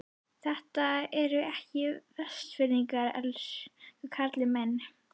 Þetta eru ekki Vestfirðingar, elsku karlinn minn.